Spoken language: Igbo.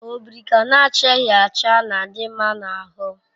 Obirika na-achaghi acha na-adi nma na ahu